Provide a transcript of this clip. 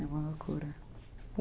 É uma loucura.